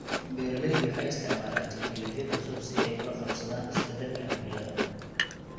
Beeraleydu waxay isticmaalaan tiknoolajiyad cusub si ay ula qabsadaan isbeddelka cimilada.